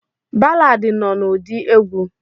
Balaadi nọ n'ụdị egwu.